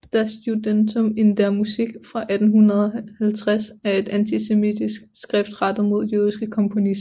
Das Judentum in der Musik fra 1850 er et antisemitisk skrift rettet mod jødiske komponister